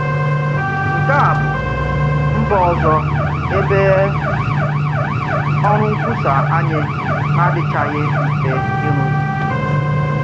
Nke a bụ̀ mba òzò ebe òrụ̀ nkwùsà anyị na-adịchàghị mfe ịrụ̀zù.